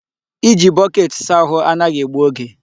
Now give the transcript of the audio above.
Iji bọket saa ahụ anaghị egbu oge.